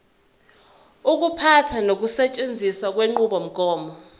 ukuphatha nokusetshenziswa kwenqubomgomo